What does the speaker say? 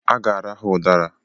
A ga-ara ha udara